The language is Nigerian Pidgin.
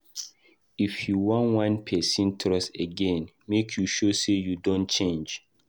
If you wan win pesin trust again, make you show sey you don change.